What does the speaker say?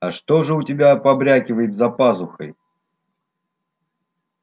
а что же у тебя побрякивает за пазухой